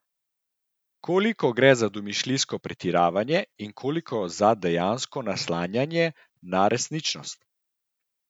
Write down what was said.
Koliko gre za domišljijsko pretiravanje in koliko za dejansko naslanjanje na resničnost?